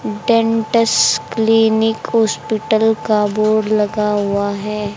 Dentist clinic hospital का board लगा हुआ है।